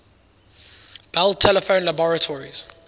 bell telephone laboratories